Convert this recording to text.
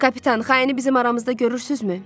Kapitan, xaini bizim aramızda görürsünüzmü?